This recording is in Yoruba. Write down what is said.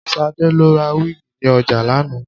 Ṣadé lọ ra wíìgì ní ọjà lánàá